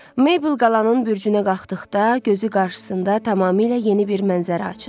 Maybel qalanın bürcünə qalxdıqda gözü qarşısında tamamilə yeni bir mənzərə açıldı.